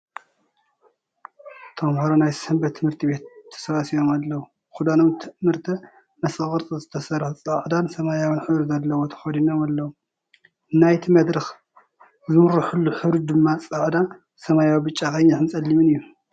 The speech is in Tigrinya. ተመሃሮ ናይ ሰምበት ት/ቤት ተሰብሲቦም ኣለዉ ኽዳኖም ትእምርተ መስቐል ቕርፂ ዝተሰርሓ ፃዕዳን ሰማያዊን ሕብሪ ዘለዎ ተኸዲኖም ኣለዉ ፡ ናይቲ መድረኽ ዝምረሓሉ ሕብሪ ደማ ፃዕዳ፣ ሰማያዊ፣ ብጫ፣ ቕይሕን ፀሊምን እዩ ።